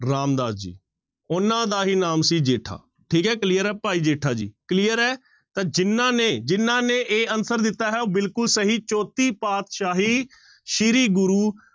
ਰਾਮਦਾਸ ਜੀ, ਉਹਨਾਂ ਦਾ ਹੀ ਨਾਮ ਸੀ ਜੇਠਾ, ਠੀਕ ਹੈ clear ਹੈ ਭਾਈ ਜੇਠਾ ਜੀ clear ਹੈ ਤਾਂ ਜਿਹਨਾਂ ਨੇ ਜਿਹਨਾਂ ਨੇ a answer ਦਿੱਤਾ ਹੈ ਉਹ ਬਿਲਕੁਲ ਸਹੀ ਚੌਥੀ ਪਾਤਿਸ਼ਾਹੀ ਸ੍ਰੀ ਗੁਰੂ